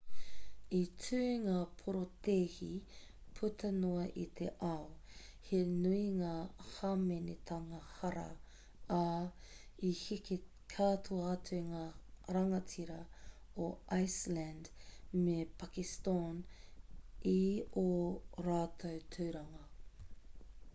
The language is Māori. i tū ngā porotēhi puta noa i te ao he nui ngā hāmenetanga hara ā i heke katoa atu ngā rangatira o iceland me pakiston i ō rātou tūranga